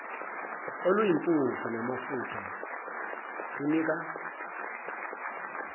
oluyimpuphu namafutha kunika